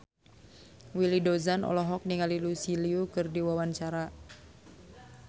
Willy Dozan olohok ningali Lucy Liu keur diwawancara